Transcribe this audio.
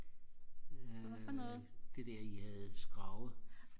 øh det der I havde skravet